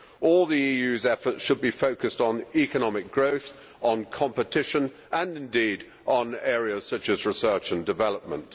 All the EU's efforts should be focused on economic growth, on competition, and indeed on areas such as research and development.